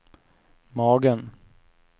magen